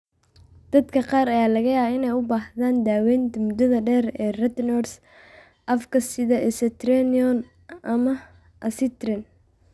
Dadka qaar ayaa laga yaabaa inay u baahdaan daawaynta muddada dheer ee retinoids afka sida isotretinoin ama acitretin.